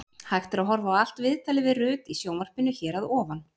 Hægt er að horfa á allt viðtalið við Rut í sjónvarpinu hér að ofan.